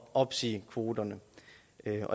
opsiger kvoterne